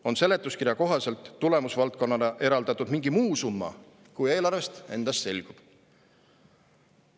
– on seletuskirja kohaselt tulemusvaldkonnale eraldatud mingi muu summa, kui eelarvest endast selgub.